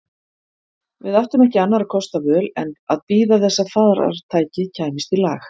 Við áttum ekki annarra kosta völ en að bíða þess að farartækið kæmist í lag.